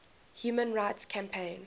human rights campaign